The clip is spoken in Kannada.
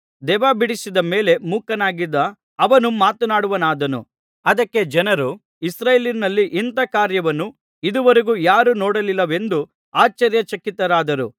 ದೆವ್ವ ಬಿಡಿಸಿದ ಮೇಲೆ ಮೂಕನಾಗಿದ್ದ ಅವನು ಮಾತನಾಡುವವನಾದನು ಅದಕ್ಕೆ ಜನರು ಇಸ್ರಾಯೇಲಿನಲ್ಲಿ ಇಂಥ ಕಾರ್ಯವನ್ನು ಇದುವರೆಗೂ ಯಾರೂ ನೋಡಲಿಲ್ಲವೆಂದು ಆಶ್ಚರ್ಯಚಕಿತರಾದರು